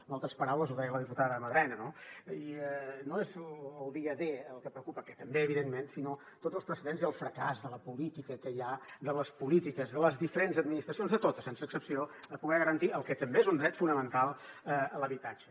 en altres paraules ho deia la diputada madrenas no i no és el dia d el que preocupa que també evidentment sinó tots els precedents i el fracàs de la política que hi ha de les polítiques de les diferents administracions de totes sense excepció a poder garantir el que també és un dret fonamental l’habitatge